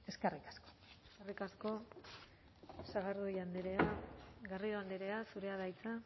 eskerrik asko eskerrik asko sagardui andrea garrido andrea zurea da hitza